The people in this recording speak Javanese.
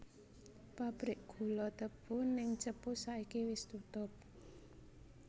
Pabrik gulo tebu ning Cepu saiki wis tutup